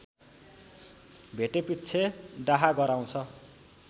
भेटेपिच्छे डाहा गराउँछ